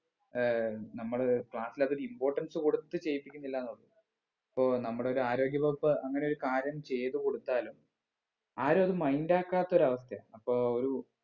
ഏർ നമ്മള് class ലൊക്കെ അത് importance കൊടുത്ത് ചെയ്യിപ്പിക്കുന്നില്ലാന്നൊള്ളു ഇപ്പൊ നമ്മള് ഒരു ആരോഗ്യ വകുപ്പ് അങ്ങനെ ഒരു കാര്യം ചെയ്ത് കൊടുത്താലും ആരും അത് mind ആകാത്ത ഒരു അവസ്ഥയ അപ്പൊ ഒരു